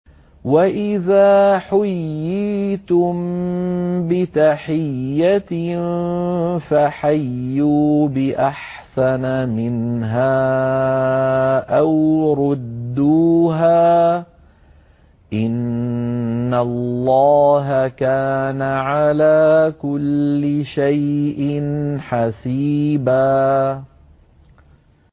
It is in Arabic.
وَإِذَا حُيِّيتُم بِتَحِيَّةٍ فَحَيُّوا بِأَحْسَنَ مِنْهَا أَوْ رُدُّوهَا ۗ إِنَّ اللَّهَ كَانَ عَلَىٰ كُلِّ شَيْءٍ حَسِيبًا